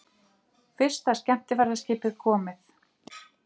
Fyrsta skemmtiferðaskipið komið